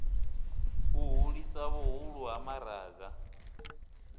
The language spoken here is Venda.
u hulisa vhuhulu ha maraga